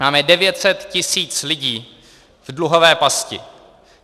Máme 900 tisíc lidí v dluhové pasti.